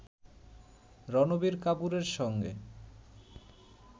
রণবীর কাপূরের সঙ্গে